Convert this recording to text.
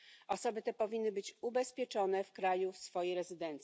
Osoby te powinny być ubezpieczone w kraju w swojego pobytu.